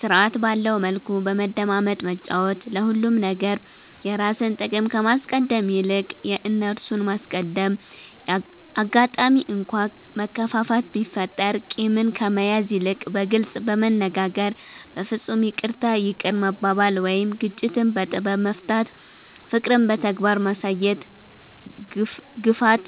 ስርዐት ባለዉ መልኩ በመደማመጥ መጫወት፤ ለሁሉም ነገር የራስን ጥቅም ከማስቀደም ይልቅ የእነርሱን ማስቀደም፣ አጋጣሚ እንኳ መከፋፋት ቢፈጠር ቂምን ከመያዝ ይልቅ በግልጽ በመነጋገር በፍፁም ይቅርታ ይቅር መባባል ወይም ግጭትን በጥበብ መፍታት፣ ፍቅርን በተግባር ማሳየት፣ ግፍት